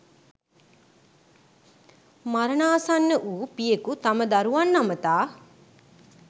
මරණාසන්න වූ පියෙකු තම දරුවන් අමතා